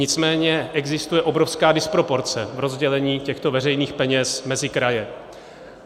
Nicméně existuje obrovská disproporce v rozdělení těchto veřejných peněz mezi kraje.